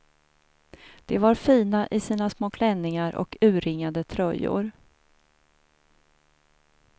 De var fina i sina små klänningar och urringade tröjor.